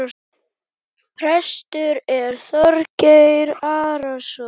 Prestur er Þorgeir Arason.